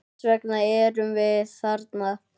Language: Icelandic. Þess vegna erum við þarna.